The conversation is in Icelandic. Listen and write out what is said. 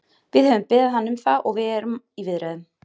Við höfum beðið hann um það og við erum í viðræðum.